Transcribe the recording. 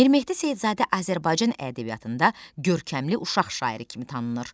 Mir Mehdi Seyidzadə Azərbaycan ədəbiyyatında görkəmli uşaq şairi kimi tanınır.